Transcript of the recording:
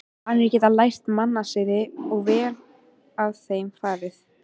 Danir geta lært mannasiði, ef vel er að þeim farið.